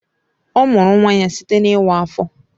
Ọ mụrụ nwa ya site na iwa afo.